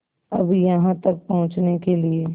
अब यहाँ तक पहुँचने के लिए